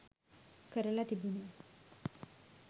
කරලා තිබුණේ.